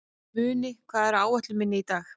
Muni, hvað er á áætluninni minni í dag?